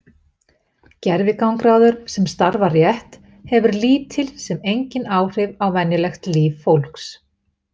Gervigangráður sem starfar rétt hefur lítil sem engin áhrif á venjulegt líf fólks.